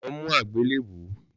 Lọ mú àgbélébùú